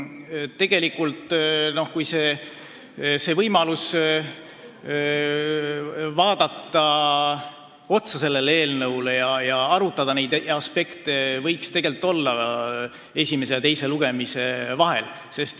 Tegelikult võiks olla võimalus vaadata sellele eelnõule otsa, arutada neid aspekte, esimese ja teise lugemise vahel.